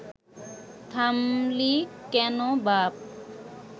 থামলি কেন বাপ